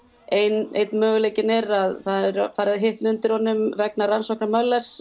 einn möguleikinn er að það er farið að hitna undir honum vegna rannsóknar